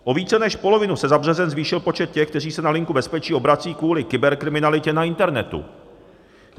O více než polovinu se za březen zvýšil počet těch, kteří se na Linku bezpečí obrací kvůli kyberkriminalitě na internetu.